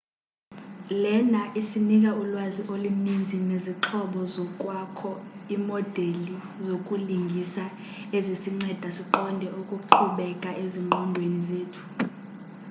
lena isinika ulwazi oluninzi nezixhobo zokwakho imodeli zokulingisa ezisinceda siqonde okuqhubeka ezinqondweni zethu